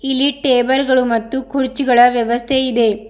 ಇಲ್ಲಿ ಟೇಬಲ್ ಗಳು ಮತ್ತು ಕುರ್ಚಿಗಳ ವ್ಯವಸ್ಥೆ ಇದೆ.